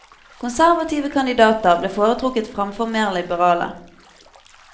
Konservative kandidater ble foretrukket fremfor mer liberale.